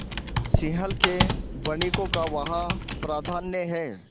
सिंहल के वणिकों का वहाँ प्राधान्य है